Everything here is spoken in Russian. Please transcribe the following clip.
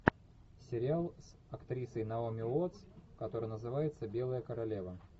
сериал с актрисой наоми уоттс который называется белая королева